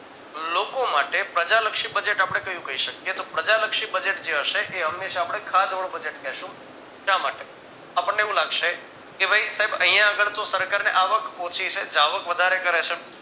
લોકો માટે પ્રજાલક્ષી budget આપણે કયું કહી શકીયે તો પ્રજાલક્ષી budget જે હશે એ હંમેશા આપણે ખાધવાળું budget કહેશુ શા માટે આપણને એવું લાગશે કે ભઈ સાહેબ અહીં આગળ તો સરકારને આવક ઓછી છે જાવક વધારે કરે છે.